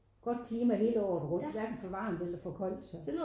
Godt klima hele året rundt hverken for varmt eller for koldt så